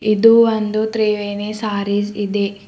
ಇದು ಒಂದು ತ್ರಿವೇಣಿ ಸಾರಿಸ್ ಇದೆ.